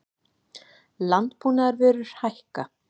Landbúnaðarvörur hækka